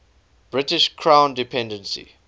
british crown dependency